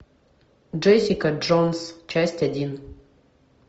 джессика джонс часть один